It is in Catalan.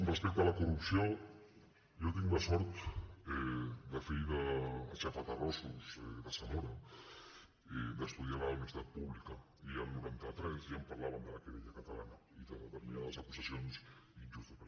respecte a la corrupció jo tinc la sort de fill d’aixafaterrossos de zamora estudiar a la universitat pública i el noranta tres ja em parlaven de la querella catalana i de determinades acusacions injustes